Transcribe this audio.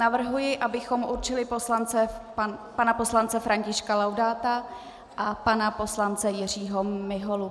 Navrhuji, abychom určili pana poslance Františka Laudáta a pana poslance Jiřího Miholu.